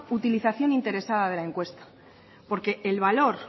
utilización interesada de la encuesta porque el valor